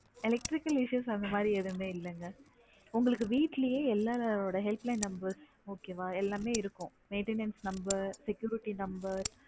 Electrical issue அந்த மாதிரி எதுவுமே இல்லேங்க உங்களுக்கு வீட்டுலே எல்லாரோட helpline number உம் okay எல்லாமே இருக்கும் waitness number security number